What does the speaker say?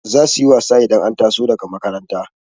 zasuyi wasa idan an taso daga makaranta